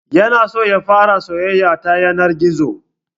Ya na so ya fara soyayya ta yanar gizo